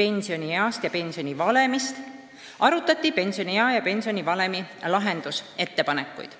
pensionieast ja pensionivalemist, seal arutati nende probleemide lahendamise ettepanekuid.